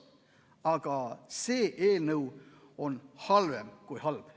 Aga see eelnõu on halvem kui halb.